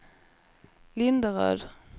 Linderöd